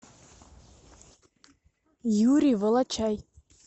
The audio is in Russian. юрий волочай